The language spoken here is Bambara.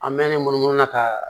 An mɛ ne munumunu n'a ka